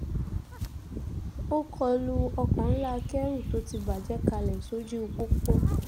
o kọ lu ọkọ̀ ńlá akẹ́rù tó ti bàjẹ́ kalẹ̀ sójú pópó